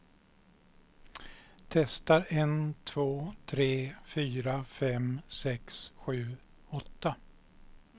Testar en två tre fyra fem sex sju åtta.